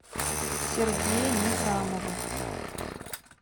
сергея низамова